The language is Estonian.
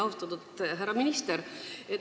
Austatud härra minister!